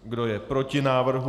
Kdo je proti návrhu?